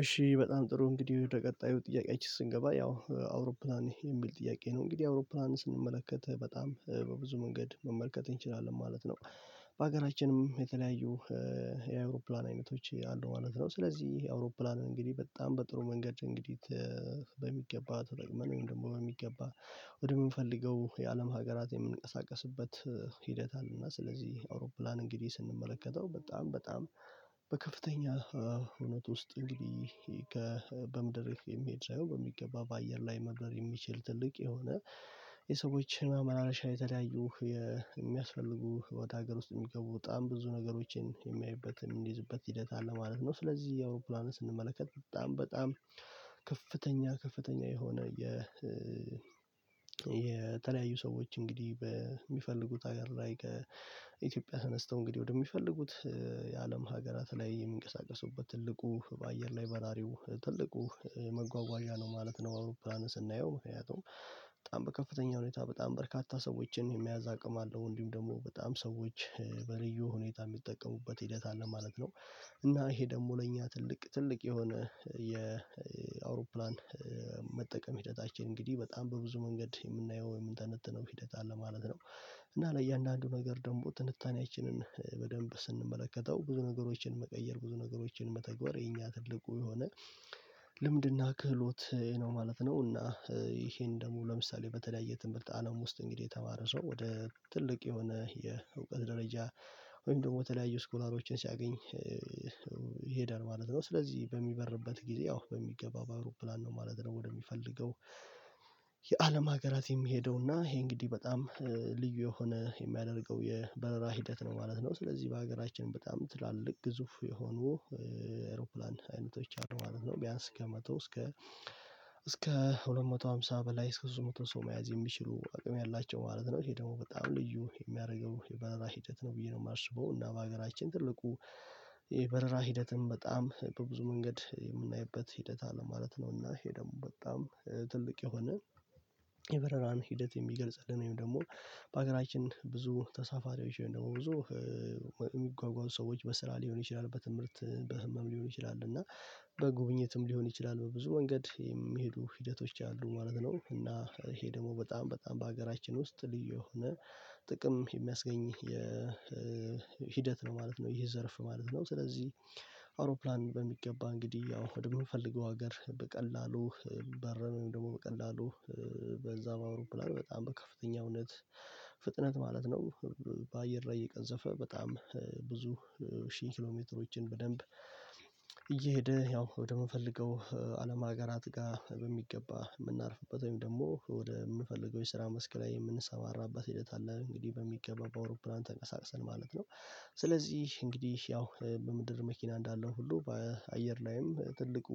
እሺ በጣም ጥሩ እንግዲህ። ወደ ቀጣዩ ጥያቄአችን ስንገባ ያው አውሮፕላን የሚል ጥያቄ ነው። እንግዲህ አውሮፕላን ስንመለከት በጣም በብዙ መንገድ መመልከት እንችላለን ማለት ነው። ባገራችንም የተለያዩ እ የአይሮፕላን አይነቶች አሉ ማለት ነው። ስለዚህ የአውሮፕላን እንግዲህ በጣም በጥሩ መንገድ እንግዲህ በሚገባ ተጠቅመን ወይም ደሞ በሚገባ ወደ ምንፈልገው የአለም ሀገራት የምንቀሳቀስበት ሂደት አለና። ስለዚህ አውሮፕላን እንግዲህ ስንመለከተው በጣም በጣም በከፍተኛ እ እውነት ውስጥ እንግዲህ ከ በምድር የሚሄድ ሳይሆን በሚገባ በአየር ላይ መብረር የሚችል ትልቅ የሆነ የሰዎች ማመላለሻ የተለያዩ የ እሚያስፈልጉ ወደ ሀገር ውስጥ እሚገቡ በጣም ብዙ ነገሮችን የሚያዩበት እምኒዝበት ሂደት አለ ማለት ነው። ስለዚህ አውሮፕላንን ስንመለከት በጣም በጣም ከፍተኛ ከፍተኛ የሆነ የ እ የተለያዩ ሰዎች እንግዲህ፣ በሚፈልጉት ሀገር ላይ ከኢትዮጵያ ተነስተው እንግዲህ ወደሚፈልጉት የአለም ሀገራት ላይ የሚንቀሳቀሱበት ትልቁ በአየር ላይ በራሪው ትልቁ መጓጓዣ ነው ማለት ነው፤ አውሮፕላን ስናየው። ምክንያቱም በጣም በከፍተኛ ሁኔታ በጣም በርካታ ሰዎችን የመያዝ አቅም አለው። እንዲሁም ደሞ በጣም ሰዎች በልዩ ሁኔታ ሚጠቀሙበት ሂደት አለ ማለት ነው። እና ይሄ ደሞ ለእኛ ትልቅ ትልቅ የሆነ የ እ አውሮፕላን እ መጠቀም ሂደታችን እንግዲህ በጣም በብዙ መንገድ የምናየው ወይም የምንተነትነው ሂደት አለ ማለት ነው። እና ለእያንዳንዱ ነገር ደሞ ትንታኔያችንን በደንብ ስንመለከተው ብዙ ነገሮችን መቀየር። ብዙ ነገሮችን መተግበር የኛ ትልቁ የሆነ ልምድና፣ ክህሎት ነው ማለት ነው። እና ኢሄን ደሞ ለምሳሌ በተለያየ ትምርት አለም ውስጥ እንግዲህ የተማረ ሰው ወደ ትልቅ የሆነ የ እውቀት ደረጃ ወይም ደሞ ተለያዩ ስኮላሮችን ሲያገኝ እ እ ይሄዳል ማለት ነው። ስለዚህ በሚበርበት ጊዜ ያው በሚገባ በአውሮፕላን ነው ማለት ነው። ወደሚፈልገው የአለም ሀገራት የሚሄደው እና ይሄ እንግዲህ በጣም ልዩ የሆነ የሚያደርገው የበረራ ሂደት ነው ማለት ነው። ስለዚህ ባገራችን በጣም ትላልቅ ግዙፍ የሆኑ የአውሮፕላን አይነቶች አሉ ማለት ነው። ቢያንስ ከመቶ እስከ እስከ ሁለት መቶ ሃምሳ በላይ፣ እስከ ሶስት መቶ ሰው መያዝ የሚችሉ አቅም ያላቸው ማለት ነው። ይሄ ደግሞ በጣም ልዩ የሚያረገው የበረራ ሂደት ነው ብዬ ነው ማስበው። እና ባገራችን ትልቁ የበረራ ሂደትም በጣም በብዙ መንገድ የምናይበት ሂደት አለ ማለት ነው። እና ይሄ ደሞ በጣም ትልቅ የሆነ የበረራን ሂደት የሚገልጽልን ወይም ደሞ ባገራችን ብዙ ተሳፋሪዎች ወይም ደግሞ ብዙ እ እሚጓጓዙ ሰዎች በስራ ሊሆን ይችላል፣ በትምህርት፣ በህመም ሊሆን ይችላል እና በጉብኝትም ሊሆን ይችላል፣ በብዙ መንገድ የሚሄዱ ሂደቶች አሉ ማለት ነው። እና ይሄ ደግሞ በጣም በጣም ባገራችን ውስጥ ልዩ የሆነ ጥቅም የሚያስገኝ የ እ ሂደት ነው ማለት ነው፤ ይህ ዘርፍ ማለት ነው። ስለዚህ አውሮፕላን በሚገባ እንግዲህ ያው ወደ ምንፈልገው አገር በቀላሉ በረን ወይም ደሞ በቀላሉ በዛ በአውሮፕላን በጣም በከፍተኛ እውነት ፍጥነት ማለት ነው። በአየር ላይ እየቀዘፈ። በጣም ብዙ ሺህ ኪሎ ሜትሮችን በደንብ እየሄደ፣ ያው ወደምንፈልገው አለም አገራትጋ በሚገባ ምናርፍበት ወይም ደሞ ወደ ምንፈልገው የስራ መስክ ላይ የምንሰማራበት ሂደት አለ። እንግዲህ በሚገባ በአውሮፕላን ተንቀሳቅሰን ማለት ነው። ስለዚህ እንግዲህ ያው በምድር መኪና እንዳለው ሁሉ። በ አየር ላይም ትልቁ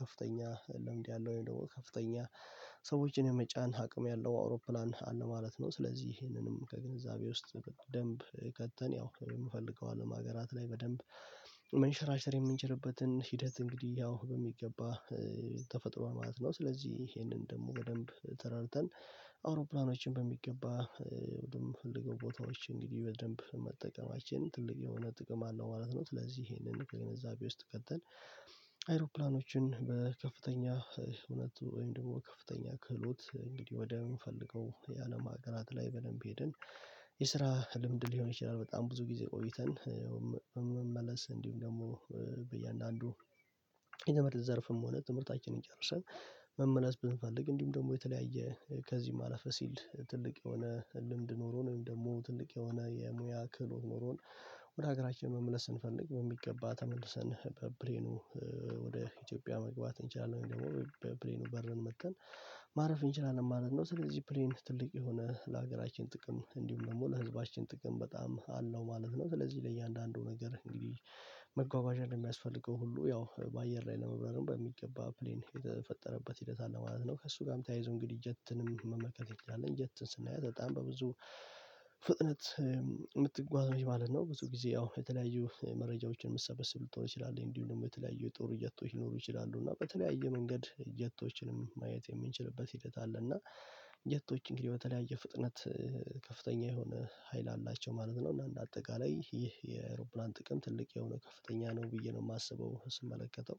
ከፍተኛ ልምድ ያለው ወይም ደሞ ከፍተኛ ሰዎችን የመጫን አቅም ያለው፣ አውሮፕላን አለ ማለት ነው። ስለዚህ ይሄንንም ከግንዛቤ ውስጥ ደንብ ከተን ያው እምፈልገው አለም ሀገራት ላይ በደንብ መንሸራሸር የምንችልበትን ሂደት እንግዲህ ያው በሚገባ ተፈጥሯል ማለት ነው። ስለዚህ ኢሄንን ደሞ በደንብ ተረድተን አውሮፕላኖችን በሚገባ እ ወደ ምንፈልገው ቦታዎች እንግዲህ በደንብ መጠቀማችን ትልቅ የሆነ ጥቅም አለው፣ ማለት ነው። ስለዚ ኢሄንን ከግንዛቤ ውስጥ ከተን አይሮፕላኖችን በከፍተኛ እ እውነት ወይም ደሞ በ ከፍተኛ ክህሎት እንግዲህ ወደምንፈልገው የአለም አገራት ላይ በደንብ ሄድን፣ የስራ ልምድ ሊሆን ይችላል፣ በጣም ብዙ ጊዜ ቆይተን እ ያው መ መመለስ እንዲውም ደሞ እ በያንዳንዱ የትምርት ዘርፍም ሆነ፣ ትምህርታችንን ጨርሰን መመለስ ብንፈልግ፣ እንዲሁም ደግሞ የተለያየ ከዚም አለፍ ሲል፣ ትልቅ የሆነ ልምድ ኖሮን ወይም ደግሞ ትልቅ የሆነ የሙያ ክህሎት ኖሮን ወደ ሀገራችን መመለስ ስንፈልግ፣ በሚገባ ተመልሰን በፕሌኑ ወደ ኢትዮጵያ መግባት እንችላለን። ወይም ደሞ በፕሌኑ በረን መተን ማረፍ እንችላለን ማለት ነው። ስለዚህ ፕሌን ትልቅ የሆነ ላገራችን ጥቅም፣ እንዲሁም ደሞ ለህዝባችን ጥቅም በጣም አለው ማለት ነው። ስለዚ ለእያንዳንዱ ነገር እንግዲህ መጓጓዣ ለሚያስፈልገው ሁሉ ያው ባየር ላይ ለመብረርም በሚገባ ፕሌን የተፈጠረበት ሂደት አለ ማለት ነው። ከእሱጋም ተያይዞ እንግዲህ ጀትንም መመልከት እንችላለን። ጀትን ስናያት በጣም በብዙ ፍጥነት የ ምትጓዝ ነች ማለት ነው። ብዙ ጊዜ ያው የተለያዩ መረጃዎችን ምሰበስብ ልትሆን ትችላለይ። እንዲሁም ደሞ የተለያዩ የጦር ጀቶች ሊኖሩ ይችላሉ። እና በተለያየ መንገድ ጀቶችንም ማየት የምንችልበት ሂደት አለ። እና ጀቶች እንግዲህ በተለያየ ፍጥነት እ ከፍተኛ የሆነ ሀይል አላቸው ማለት ነው። እና እንደ አጠቃላይ ይህ የአውሮፕላን ጥቅም ትልቅ የሆነ ከፍተኛ ነው፣ ብዬ ነው ማስበው። ስመለከተው